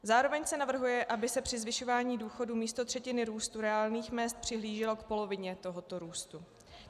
Zároveň se navrhuje, aby se při zvyšování důchodu místo třetiny růstu reálných mezd přihlíželo k polovině tohoto růstu.